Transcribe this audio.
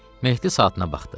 Mehdi saatına baxdı.